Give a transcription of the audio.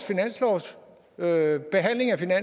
hvad vi